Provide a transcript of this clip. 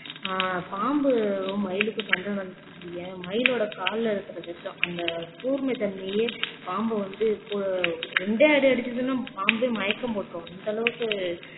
ஆஹ் பாம்பும் மயிலுக்கும் சண்டை நடந்துச்சுன்னு வையென் மயிலோட கால்ல இருக்கிற விஷம் அந்த கூர்மை தன்மையே பாம்பை வந்து கூட இரண்டே அடி அடிச்சுதுன்னா பாம்பே மயக்கம் போட்டுரும் அந்த அளவுக்கு